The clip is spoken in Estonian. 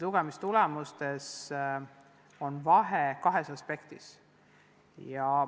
Lugemistulemustes on kaht laadi vahe.